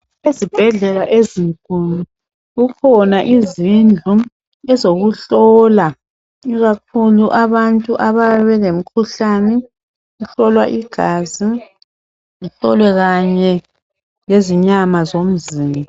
Ezibhedlela ezinkulu kukhona izindlu ezokuhlola ikakhulu abantu abaye belomkhuhlane kuhlolwa igazi kuhlolwe kanye lezinyama zomzimba